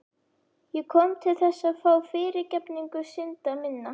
Ég kom til þess að fá fyrirgefningu synda minna.